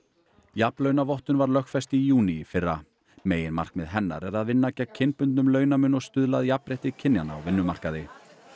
jafnlaunavottun var lögfest í júní í fyrra meginmarkmið hennar er að vinna gegn kynbundnum launamun og stuðla að jafnrétti kynjanna á vinnumarkaði